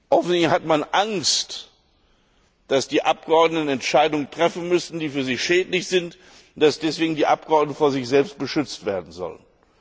Offensichtlich hat man Angst, dass die Abgeordneten Entscheidungen treffen müssen, die für sie schädlich sind, und dass deshalb die Abgeordneten vor sich selbst beschützt werden sollen.